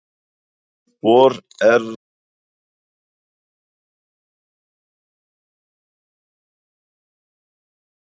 Voru erlend lið að fylgjast með þér á þeim tíma sem þú brotnaðir?